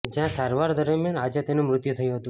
જ્યાં સારવાર દરમ્યાન આજે તેનું મૃત્યુ થયું હતું